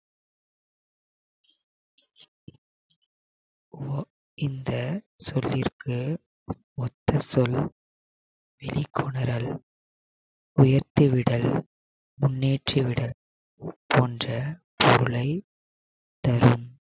இந்த சொல்லிற்கு ஒற்ற சொல் வெளிக்கொணரல் உயர்த்தி விடல் முன்னேற்றி விடல் போன்ற பொருளை தரும்